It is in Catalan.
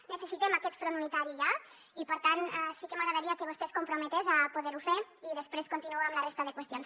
necessitem aquest front unitari ja i per tant sí que m’agradaria que vostè es comprometés a poder ho fer i després continue amb la resta de qüestions